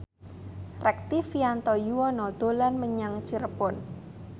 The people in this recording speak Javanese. Rektivianto Yoewono dolan menyang Cirebon